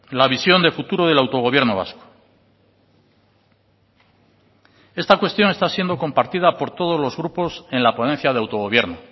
la visión de futuro del autogobierno vasco esta cuestión está siendo compartida por todos los grupos en la ponencia de autogobierno